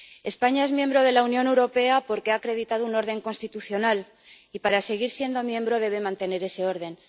España es miembro de la Unión Europea porque ha acreditado un orden constitucional y, para seguir siendo miembro, debe mantener ese orden.